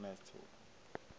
ke re a o a